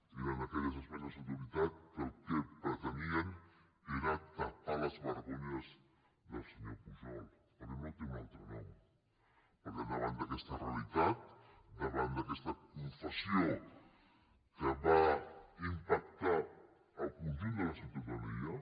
eren aquelles esmenes a la totalitat que el que pretenien era tapar les vergonyes del senyor pujol perquè no té un altre nom perquè davant d’aquesta realitat davant d’aquesta confessió que va impactar el conjunt de la ciutadania